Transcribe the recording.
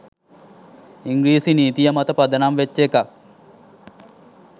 ඉංග්‍රීසි නීතිය මත පදනම් වෙච්ච එකක්